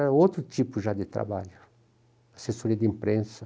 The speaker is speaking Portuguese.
Era outro tipo já de trabalho, assessoria de imprensa.